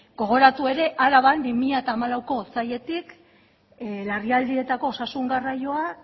gogoratu ere araban bi mila hamalaueko otsailetik larrialdietako osasun garraioa